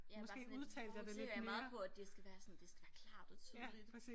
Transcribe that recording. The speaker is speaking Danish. Ja bare sådan lidt fokuserer jeg meget på at det skal være sådan det skal være klart og tydeligt